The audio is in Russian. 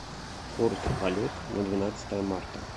курс валют на двенадцатое марта